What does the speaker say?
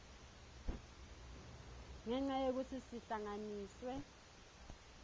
ngenca yekutsi sihlanganiswe